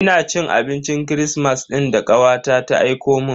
Ina cin abincin kirismas din da kawata ta aikomun.